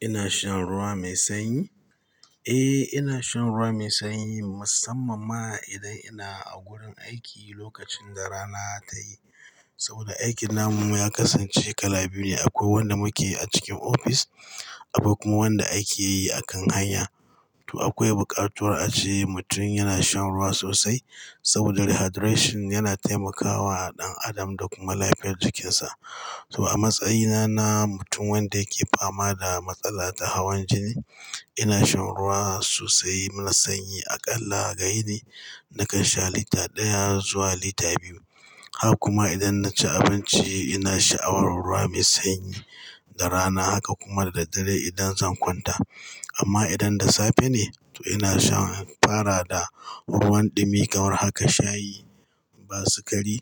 Ina shan ruwa mai sanyi? Eh, ina shan ruwa mai sanyi musamman ma idan ina a gurin aiki lokacin da rana tayi. Saboda aikin namu ya kasance kala biyu ne, akwai wanda muke a cikin ofis, akwai kuma wanda ake yi akan hanya. To akwai bukatar a ce mutum yana shan ruwa sosai saboda hydration yana taimakawa ɗan adam da kuma lafiyar jikinsa. To a matsayina na mutum wanda yake fama da matsala ta hawan jini, ina shan ruwa sosai mai sanyi. Aƙalla ga yini, nakan sha lita ɗaya zuwa lita biyu. Hak kuma idan na ci abinci ina sha'awar ruwa mai sanyi da rana. Haka kuma da daddare idan zan kwanta. Amma idan da safe ne to ina shan fara da ruwan ɗumi kamar haka shayi ba sikari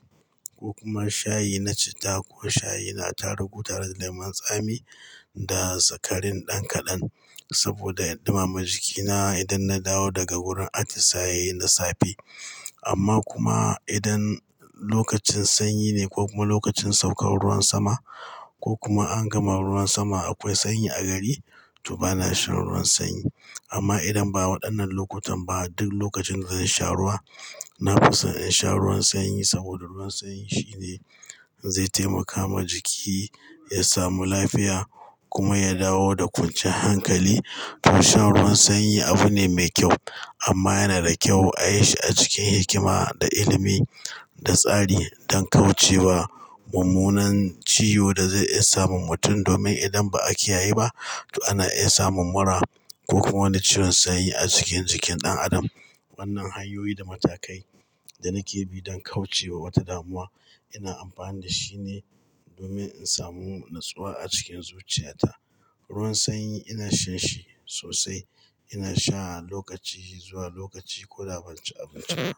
ko kuma shayi na citta ko shayi na tarugu tare da lemon tsami da sukarin ɗan kaɗan saboda ya ɗumamin jikina idan na dawo daga wurin atisaye na safe. Amma kuma idan lokacin sanyi ne ko kuma lokacin saukar ruwan sama ko kuma an gama ruwan sama akwai sanyi a gari, to bana shan ruwan sanyi. Amma idan ba waɗannan lokutan ba duk lokacin da zan sha ruwa, na fi son in sha ruwan sanyi saboda ruwan sanyi shine zai taimaka ma jiki ya samu lafiya kuma ya dawo da kwanciyan hankali. To shan ruwan sanyi abu ne mai kyau amma yana da kyau a yi shi a cikin hikima da ilimi da tsari don kauce wa mummunan ciwo da zai iya samun mutum. Domin idan ba a kiya ye ba to ana iya samun mura ko kuma wani ciwon sanyi a cikin jikin ɗan adam, wannan hanyoyi da matakai da nake bi don kauce wa wata damuwa ina amfani da shi ne domin in samu natsuwa a cikin zuciyata. Ruwan sanyi ina shanshi sosai. Ina sha lokaci zuwa lokaci ko da ban ci abinci ba.